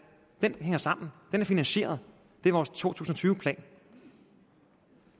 det hænger sammen den er finansieret det er vores to tusind og tyve plan